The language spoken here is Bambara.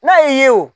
N'a y'i ye wo